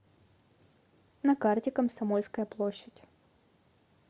на карте комсомольская площадь